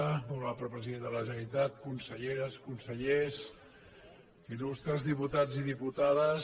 molt honorable president de la generalitat conselleres consellers illustres diputats i diputades